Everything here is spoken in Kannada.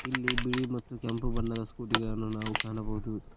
ಇಲ್ಲಿ ಬಿಳಿ ಮತ್ತು ಕೆಂಪು ಬಣ್ಣದ ಸ್ಕೂಟಿ ಗಳನ್ನು ನಾವು ಕಾಣಬಹುದು.